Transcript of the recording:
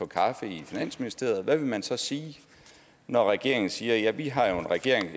kaffe i finansministeriet hvad vil man så sige når regeringen siger ja vi har jo